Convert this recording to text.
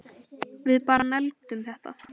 Við bara negldum þetta